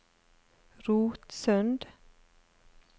Rotsund